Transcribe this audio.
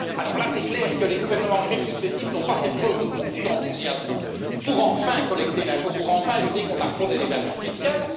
nom. Il est clair que les gouvernements grecs successifs n'ont pas fait preuve de beaucoup d'enthousiasme pour enfin collecter l'impôt et lutter contre la fraude et l'évasion fiscales.